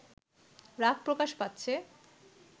রাগ প্রকাশ পাচ্ছে